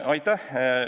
Aitäh!